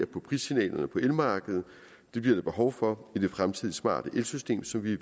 på prissignalerne på elmarkedet det bliver der behov for med det fremtidige smarte elsystem som vi